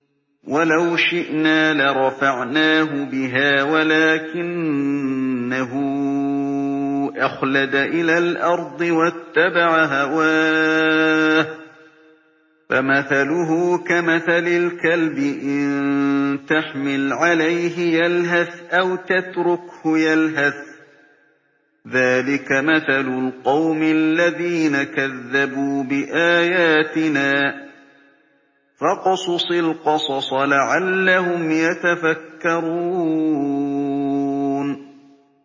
وَلَوْ شِئْنَا لَرَفَعْنَاهُ بِهَا وَلَٰكِنَّهُ أَخْلَدَ إِلَى الْأَرْضِ وَاتَّبَعَ هَوَاهُ ۚ فَمَثَلُهُ كَمَثَلِ الْكَلْبِ إِن تَحْمِلْ عَلَيْهِ يَلْهَثْ أَوْ تَتْرُكْهُ يَلْهَث ۚ ذَّٰلِكَ مَثَلُ الْقَوْمِ الَّذِينَ كَذَّبُوا بِآيَاتِنَا ۚ فَاقْصُصِ الْقَصَصَ لَعَلَّهُمْ يَتَفَكَّرُونَ